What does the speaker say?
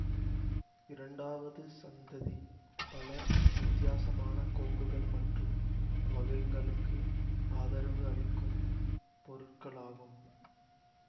இரண்டாவது சந்ததி பல வித்தியாசமான கோப்புகள் மற்றும் வகைங்களுக்கு ஆதரவு அளிக்கும் பொருட்கள் ஆகும்